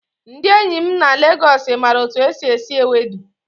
Ndị enyi m na Legos maara otu esi esi Ewedu.